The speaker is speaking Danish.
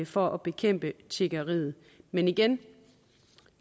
for at bekæmpe tiggeriet men igen